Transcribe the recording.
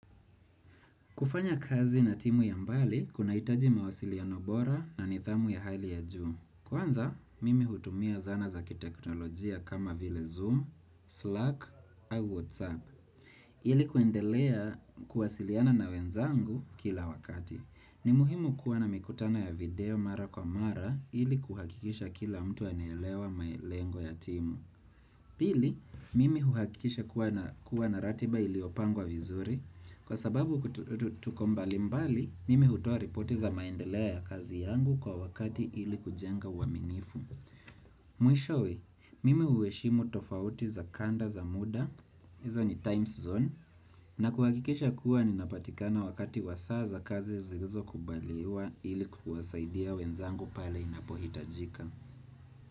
Kufanya kazi na timu ya mbali, kuna hitaji mawasiliano bora na nithamu ya hali ya juu. Kwanza, mimi hutumia zana za kiteknolojia kama vile Zoom, Slack, au WhatsApp. Ili kuendelea kuwasiliana na wenzangu kila wakati. Ni muhimu kuwa na mikutano ya video mara kwa mara ili kuhakikisha kila mtu anaelewa lengo ya timu. Pili, mimi huhakikisha kuwa na ratiba iliyopangwa vizuri, kwa sababu kutukomba limbali, mimi hutua ripoti za maendeleo ya kazi yangu kwa wakati ili kujenga waminifu. Mwisho we, mimi huheshimu tofauti za kanda za muda, hizo ni time zone, na kuhakikisha kuwa ni napatikana wakati wasaaza kazi zilizo kubaliwa ili kuwasaidia wenzangu pale inapohitajika.